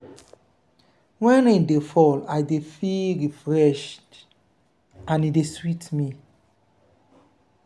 wen rain dey fall i dey feel refreshed and e dey sweet me.